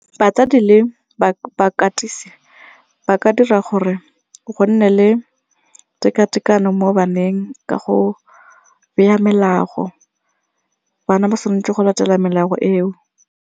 Batsadi le bakatisi ba ka dira gore go nne le tekatekano mo baneng ka go beya melao, bana ba tshwanetse go latela melao eo.